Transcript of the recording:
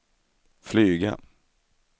flyga